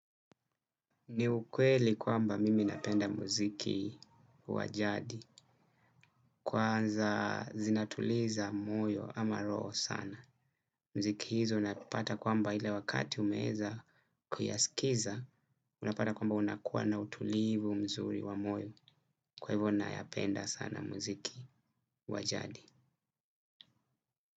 Ni ukweli kwamba mimi napenda muziki wa jadi. Kwanza zinatuliza moyo ama roho sana. Mziki hizo unapata kwamba ile wakati umeweza kuyaskiza. Unapata kwamba unakuwa na utulivu mzuri wa moyo. Kwa hivyo nayapenda sana muziki wa jadi.